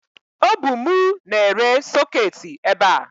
o bu mu na-ere soketi ebe a